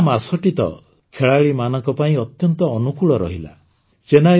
ଏଇ ସାରା ମାସଟି ତ ଖେଳାଳିମାନଙ୍କ ପାଇଁ ଅତ୍ୟନ୍ତ ଅନୁକୂଳ ରହିଲା